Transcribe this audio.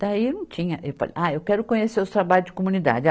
Daí não tinha. Ele falou, ah, eu quero conhecer os trabalhos de comunidade. a